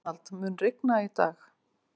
Arnald, mun rigna í dag?